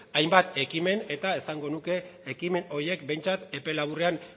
hainbat ekimen eta esango nuke ekimen horiek behintzat epe laburrean